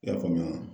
I y'a faamu wa